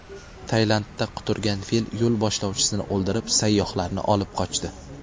Tailandda quturgan fil yo‘l boshlovchisini o‘ldirib, sayyohlarni olib qochdi.